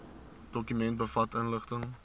dokument bevat inligting